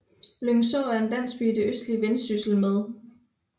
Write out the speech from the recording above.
Lyngså er en landsby i det østlige Vendsyssel med